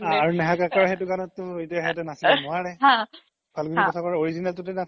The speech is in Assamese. আৰু নেহা কাক্কাৰ সেইতো গানত তো নাচিব নোৱাৰে ফালগুনি পাথাকৰ original তোতে নাচিব লাগিব